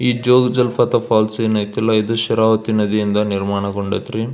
ಈ ಜೋಗ ಜಲಪಾತ ಫಾಲ್ಸ್ ಏನ್ ಅಯ್ತೆಲ್ಲ ಇದು ಶರಾವತಿ ನದಿಯಿಂದ ನಿರ್ಮಾಣ ಗೊಂಡಾಯ್ತ್ರಿ.